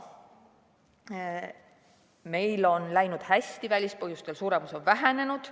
Meil on läinud hästi, välispõhjustest tingitud suremus on vähenenud.